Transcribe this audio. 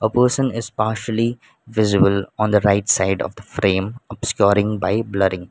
a person is partially visible on the right side of the frame obscuring by blurring.